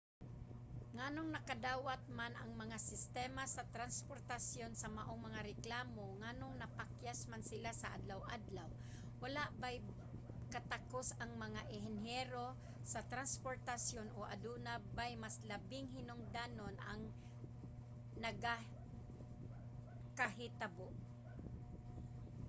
nganong nakadawat man ang mga sistema sa transportasyon sa maong mga reklamo nganong napakyas man sila sa adlaw-adlaw? walay bay katakos ang mga enhinyero sa transportasyon? o adunay bay mas labing hinungdanon ang nagakahitabo?